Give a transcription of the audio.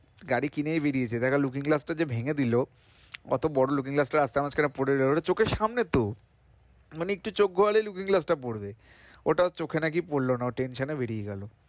গাড়ি কিনেই বেরিয়েছে দেখো looking glass টা ভেঙ্গে দিল অতো বড় looking glass টা রাস্তার মাঝখানে পরেগেল ওটা চোখের সামনে তো মানে একটু চোখ ঘোরালেই looking glass টা পড়বে ওটা ওর চোখ এ না কি পড়ল না ও tension এ গেল,